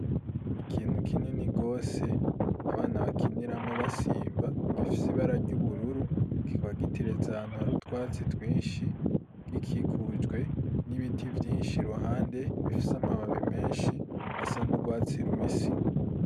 Ikintu kinini gose, abana bakiniramwo, basimba; gifise ibara ry'ubururu; kiba giteretse ahantu, hari utwatsi twinshi; gikikujwe n'ibiti vyinshi, iruhande, bifise amababi menshi, asa n'urwatsi rubisi.